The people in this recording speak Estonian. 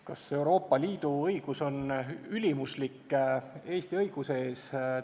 Kas Euroopa Liidu õigus on ülimuslik Eesti õiguse ees?